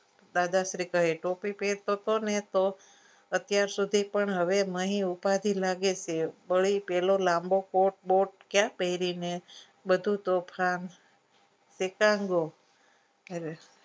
દાદાશ્રી કહે ટોપી પહેરતો તોને અત્યાર સુધી હવે પણ મહી ઉપાધી લાગે છે વળી પેલો લાંબો કોટ બોટ ક્યાં પહેરી ને બધું તો